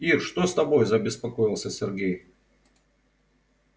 ир что с тобой забеспокоился сергей